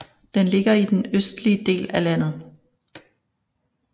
Den ligger i den østlige del af landet